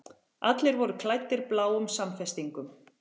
Allir voru klæddir bláum samfestingum.